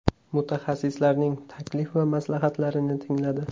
Mutaxassislarning taklif va maslahatlarini tingladi.